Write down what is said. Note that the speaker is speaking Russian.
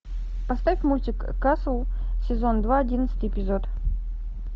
поставь мультик касл сезон два одиннадцатый эпизод